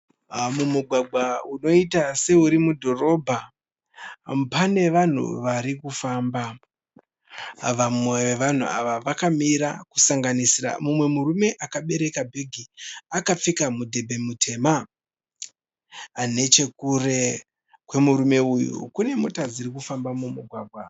Mumugwagwa unoita seuri mudhorobha. Pane vane vanhu varikufamba. Vamwe vevanhu ava vakamira kusanganisira mumwe murume akabereka bhegi akapfeka mudhembe mutema. Nechekure kwemurume uyu kune mota dzirikufamba mumugwagwa.